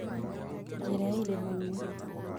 Njĩra ya irima-inĩ